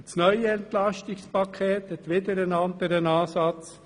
Das neue Entlastungspaket hat wieder einen anderen Ansatz.